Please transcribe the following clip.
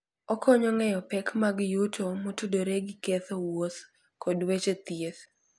Okonyo ng'eyo pek mag yuto motudore gi ketho wuoth kod weche thieth.